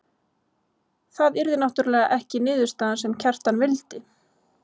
Það yrði náttúrlega ekki niðurstaðan sem Kjartan vildi.